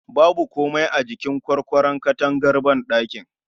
Babu komai a jikin Kwarkwaron takardar banɗaki